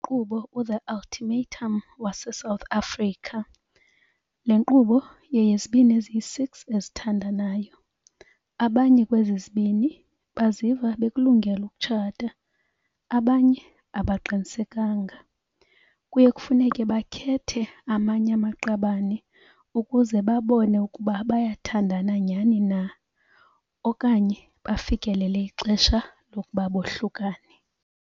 Inkqubo uThe Ultimatum wase-South Africa. Le nkqubo yeyezibini eziyi-six ezithandanayo. Abanye kwezi zibini baziva bekulungele ukutshata, abanye abaqinisekanga. Kuye kufuneke bakhethe amanye amaqabane ukuze babone ukuba bayathandana nyani na okanye bafikelele ixesha lokuba bohlukane.